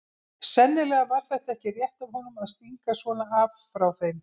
Sennilega var þetta ekki rétt af honum að stinga svona af frá þeim.